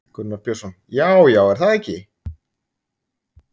Gunnar Björnsson: Já, já, er það ekki?